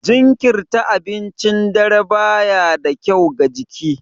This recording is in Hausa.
Jinkirirta abincin dare ba ya da kyau ga jiki.